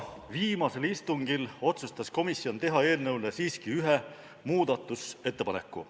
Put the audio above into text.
Viimasel istungil aga otsustas komisjon teha siiski ühe muudatusettepaneku.